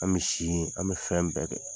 An bɛ si yen an bɛ fɛn bɛɛ kɛ.